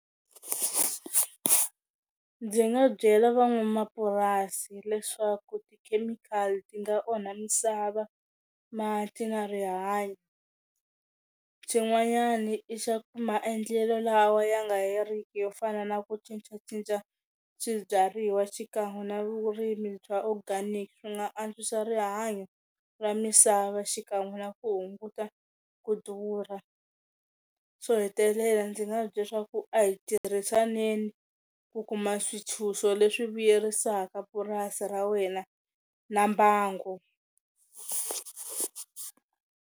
Ndzi nga byela van'wamapurasi leswaku tikhemikhali ti nga onha misava mati na rihanyo, xin'wanyani i xa ku maendlelo lawa ya nga heriki yo fana na ku cincacinca swibyariwa xikan'we na vurimi bya organic swi nga antswisa rihanyo ra misava xikan'we na ku hunguta ku durha, xo hetelela ndzi nga va bye swa ku a hi tirhisaneni ku kuma swintshuxo leswi vuyerisaka purasi ra wena na mbango.